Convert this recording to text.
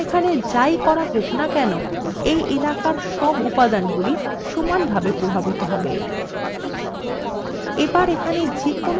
এখন এখানে যাই করা হোক now কেন এই এলাকার সকল উপাদানগুলি সমানভাবে প্রভাবিত হবে